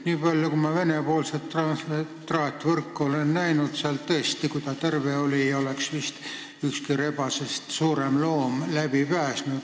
Niipalju kui ma Vene-poolset traatvõrku olen näinud, siis kui see terve on, ei pääse sellest vist ükski rebasest suurem loom läbi.